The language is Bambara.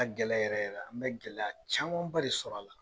Ka gɛlɛ yɛrɛ yɛrɛ la, an bɛ gɛlɛya caamanba de sɔr'a la.